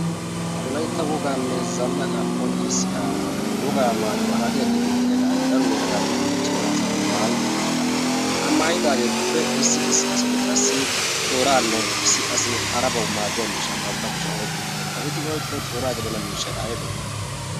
wolaitta wogaanne zannaqaa konccissiya wogaa maayuwaa haadiyaa giyotettiyaagaa daro yelagaatinne cima asati maayi uttirosona ha maayidaageetuppe issi issi asati qassi tooraanne issi qassi harabawu maaddiya miishsha bantta kushiyan oiqqi uttirosona ha eti oiqqiro tooraa gedana miishshai aibee?